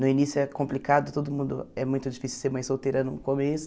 No início é complicado todo mundo, é muito difícil ser mãe solteira no começo.